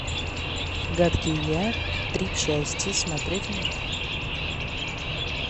гадкий я три части смотреть онлайн